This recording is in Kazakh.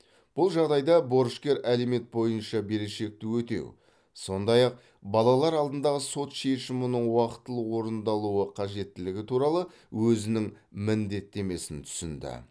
бұл жағдайда борышкер алимент бойынша берешекті өтеу сондай ақ балалар алдындағы сот шешімінің уақтылы орындалуы қажеттілігі туралы өзінің міндеттемесін түсінді